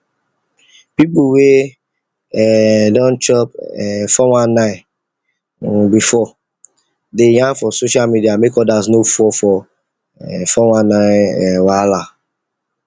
people wey um don chop um] four one nine um before dey yarn for social media make others no fall for um four one nine um wahala